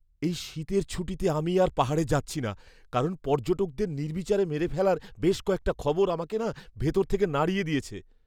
এই শীতের ছুটিতে আমি আর পাহাড়ে যাচ্ছি না, কারণ পর্যটকদের নির্বিচারে মেরে ফেলার বেশ কয়েকটা খবর আমাকে না ভিতর থেকে নাড়িয়ে দিয়েছে।